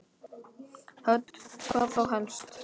Hödd: Hvað þá helst?